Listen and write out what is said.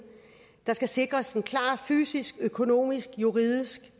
der skal sikres en klar fysisk økonomisk juridisk